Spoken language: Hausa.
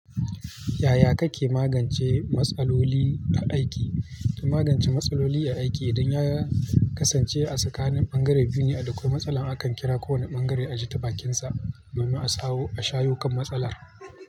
Yaya kake magance matsaloli a aiki? Don magance matsaloli a aiki, idan ya kasance a tsakanin ɓangare biyu ne, a dakwai matsala akan kira kowane ɓangare a ji ta bakinsa domin a sawo shayo kan matsalar.